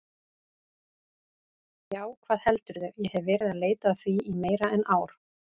Já, hvað heldurðu, ég hef verið að leita að því í meira en ár.